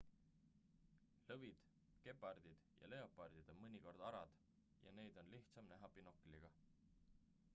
lõvid gepardid ja leopardid on mõnikord arad ja neid on lihtsam näha binokliga